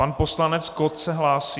Pan poslanec Kott se hlásí?